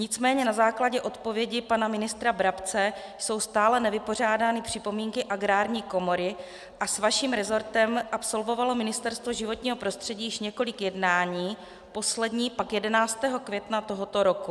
Nicméně na základě odpovědi pana ministra Brabce jsou stále nevypořádány připomínky Agrární komory a s vaším resortem absolvovalo Ministerstvo životního prostředí již několik jednání, poslední pak 11. května tohoto roku.